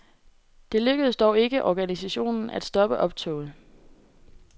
Det lykkedes dog ikke organisationen at stoppe optoget.